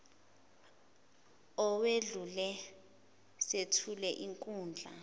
owedlule sethule inkundla